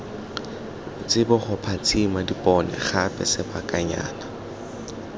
tsiboge phatsimisa dipone gape sebakanyana